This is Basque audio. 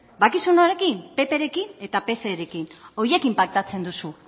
badakizu norekin pprekin eta pserekin horiekin paktatzen duzu